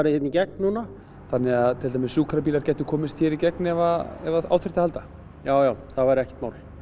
hér í gegn núna þannig að til dæmis sjúkrabílar gætu komist hér í gegn ef ef á þyrfti að halda já það væri ekkert mál